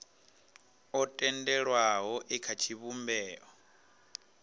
o tendelwaho e kha tshivhumbeo